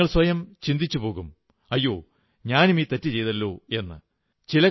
നിങ്ങൾ സ്വയം ചിന്തിച്ചുപോകും അയ്യോ ഞാനും ഈ തെറ്റു ചെയ്തല്ലോ എന്ന്